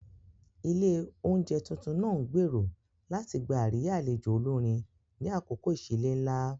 Ilé oúnjẹ tuntun náà ń gbèrò láti gba àríyá àlejò olórin ni àkókò ìsílé ńlá.